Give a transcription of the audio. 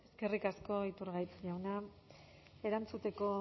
eskerrik asko iturgaiz jauna erantzuteko